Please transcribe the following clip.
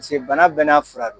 Paseke bana bɛɛ n'a fura de don.